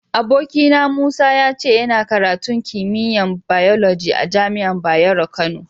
Abokina Musa, ya ce yana karatun kimiyya'n biyoloji a'jami'an Bayero Kano.